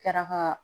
Kɛra ka